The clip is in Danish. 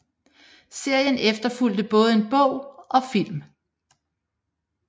Serien efterfulgte både en bog og film